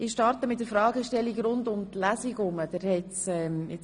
Ich starte mit der Fragestellung rund um die Lesung.